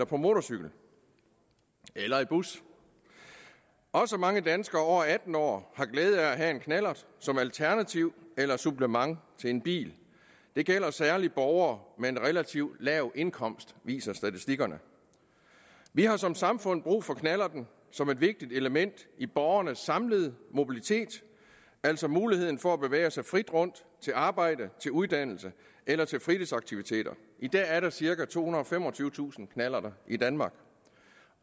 på motorcykel eller i bus også mange danskere over atten år har glæde af at have en knallert som alternativ eller supplement til en bil det gælder særlig borgere med en relativt lav indkomst viser statistikkerne vi har som samfund brug for knallerten som et vigtigt element i borgernes samlede mobilitet altså muligheden for at bevæge sig frit rundt til arbejde til uddannelse eller til fritidsaktiviteter i dag er der cirka tohundrede og femogtyvetusind knallerter i danmark